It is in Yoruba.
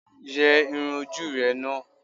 Yẹ irun ojú ú rẹ̀ ná!